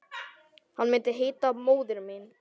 Hann myndi heita Móðir mín.